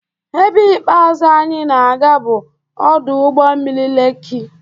Ebe ikpeazụ anyị na-aga bụ ọdụ ụgbọ mmiri Lekki.